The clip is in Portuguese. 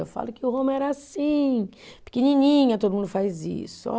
Eu falo que Roma era assim, pequenininha, todo mundo faz isso. Ó